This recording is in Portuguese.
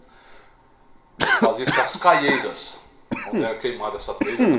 Depois fazia-se as caieiras, onde era queimada essa telha, né?